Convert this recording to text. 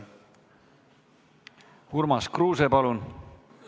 Urmas Kruuse, palun!